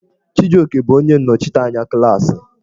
Chijioke bụ onye nnọchiteanya klaasị.